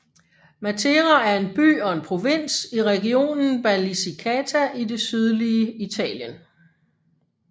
Matera er en by og en provins i regionen Basilicata i det sydlige Italien